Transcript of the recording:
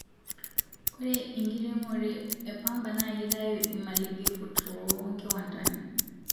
Ore enkiremore epamba na kitayu imalighafu too kiwandani